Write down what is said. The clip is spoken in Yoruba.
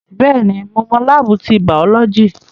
Bẹ́ẹ̀ni, mo mọ láábù ti bàọ́lọ́jì